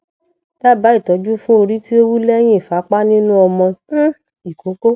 daba itoju fun ori ti o wu lehin ifapa ninu omo um ikoko